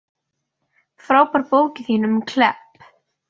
Frábær bókin þín um Klepp.